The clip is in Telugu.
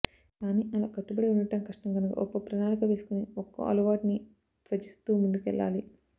కానీ అలా కట్టుబడి ఉండటం కష్టం కనుక ఒక ప్రణాళిక వేసుకుని ఒక్కో అలవాటునీ త్యజిస్తూ ముందుకెళ్ళాలి